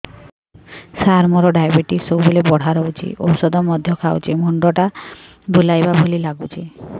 ସାର ମୋର ଡାଏବେଟିସ ସବୁବେଳ ବଢ଼ା ରହୁଛି ଔଷଧ ମଧ୍ୟ ଖାଉଛି ମୁଣ୍ଡ ଟା ବୁଲାଇବା ଭଳି ଲାଗୁଛି